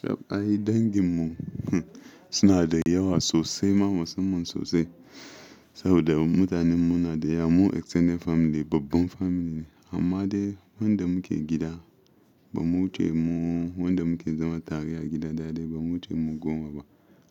Tab ai danginmu suna da yawa sosai, ma musanmun sosai. Saboda mutanen mu na da yawa, mu extended family babban family ne. Amma dai wanda muke gida ba mu ce mu wanda muke zama tari a gida da dai ba mu ce mu gowan ba.